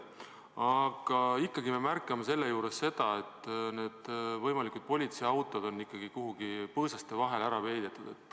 Aga ikkagi me märkame, et võimalikud politseiautod on kuhugi põõsaste vahele ära peidetud.